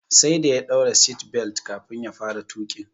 Sai da ya daura "seat belt" kafin ya fara tuƙin